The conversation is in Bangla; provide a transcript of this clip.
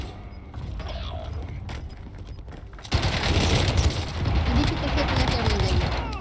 আচ্ছা আচ্ছা deepika কে আপনার কেমন লাগে?